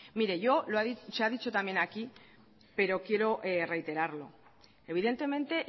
mire yo se ha dicho también aquí pero quiero reiterarlo evidentemente